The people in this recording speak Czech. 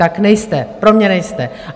Tak nejste, pro mě nejste.